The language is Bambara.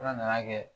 Ala nana kɛ